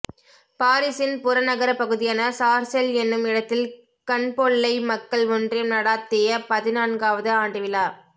பாரிசின் புற நகரப்பகுதியான சார்சேல் என்னும் இடத்தில கன்பொல்லை மக்கள் ஒன்றியம் நடாத்திய பதின் நான்காவது ஆண்டு விழா